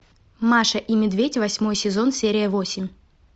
маша и медведь восьмой сезон серия восемь